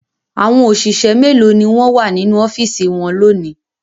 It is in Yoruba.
Àwọn òṣìṣẹ́ mélòó ni wọ́n wà nínú ọ́fíísì wọn lónìí?